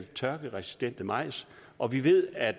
tørkeresistent majs og vi ved at